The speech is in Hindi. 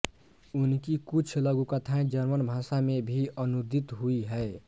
उनकी कुछ लघुकथाएँ जर्मन भाषा में भी अनूदित हुईं हैं